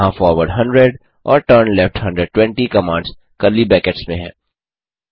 यहाँ फॉरवर्ड 100 और turn left 120 commands curly brackets में हैं